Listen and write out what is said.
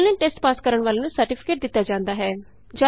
online test pass ਕਰਨ ਵਾਲਿਆਂ ਨੂੰ ਸਰਟੀਫਿਕੇਟ ਦਿਤਾ ਜਾਂਦਾ ਹੈ